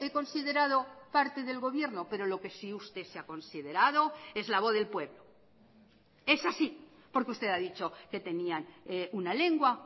considerado parte del gobierno pero lo que sí usted se ha considerado es la voz del pueblo esa sí porque usted ha dicho que tenían una lengua